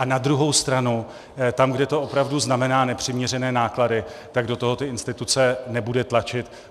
A na druhou stranu tam, kde to opravdu znamená nepřiměřené náklady, tak do toho ty instituce nebude tlačit.